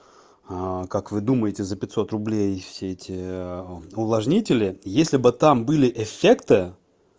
как вы думаете за пятьсот рублей все эти увлажнители если бы там были эффекты